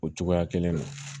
O cogoya kelen na